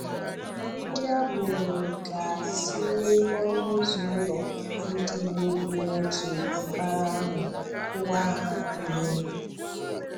Ndị agbọrọ̀ gaa tìwà ọnụụ̀zọ ụlọ Ndigbo bi n’òtù mbara ahụ kùwà ha ihe.